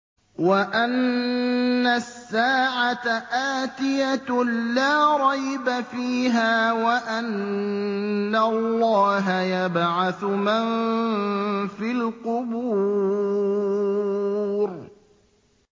وَأَنَّ السَّاعَةَ آتِيَةٌ لَّا رَيْبَ فِيهَا وَأَنَّ اللَّهَ يَبْعَثُ مَن فِي الْقُبُورِ